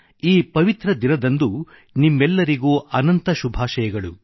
ಈ ಪವಿತ್ರ ದಿನದಂದು ನಿಮ್ಮೆಲ್ಲರಿಗೂ ಅನಂತ ಶುಭಾಷಯಗಳು